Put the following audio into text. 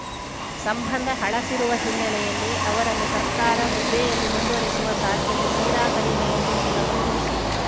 ಸಂಬಂಧ ಹಳಸಿರುವ ಹಿನ್ನೆಲೆಯಲ್ಲಿ ಅವರನ್ನು ಸರ್ಕಾರ ಹುದ್ದೆಯಲ್ಲಿ ಮುಂದುವರಿಸುವ ಸಾಧ್ಯತೆ ತೀರಾ ಕಡಿಮೆ ಎಂದು ಮೂಲಗಳು ತಿಳಿಸಿವೆ